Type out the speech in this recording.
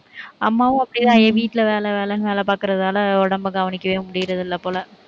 அம்மாவும் அப்படிதான், வீட்டுல வேலை, வேலைன்னு வேலை பார்க்கிறதால, உடம்பை கவனிக்கவே முடியறது இல்லை போல